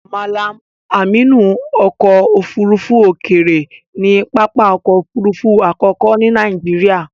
Mallam amnu ọkọ ofurufu okeere ni papa ọkọ òfurufú àkókò ni Nàìjíríà.